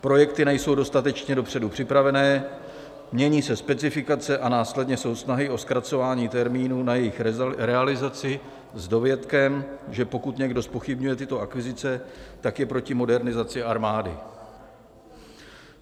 Projekty nejsou dostatečně dopředu připravené, mění se specifikace a následně jsou snahy o zkracování termínů na jejich realizaci s dovětkem, že pokud někdo zpochybňuje tyto akvizice, tak je proti modernizaci armády.